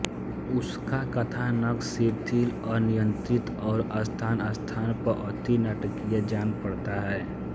उसका कथानक शिथिल अनियंत्रित और स्थानस्थान पर अति नाटकीय जान पड़ता है